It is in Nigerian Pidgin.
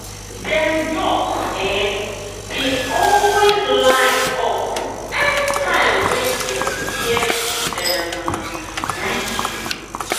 dem duck um dey always line um up anytime wey dem hear the um whistle.